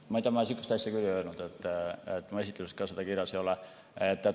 Ma ei tea, ma sihukest asja küll ei öelnud, mu esitluses ka seda kirjas ei ole.